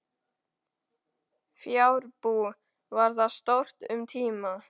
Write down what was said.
Fjárbú var þar stórt um tíma.